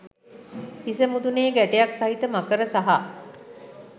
හිස මුදුනේ ගැටයක් සහිත මකර සහ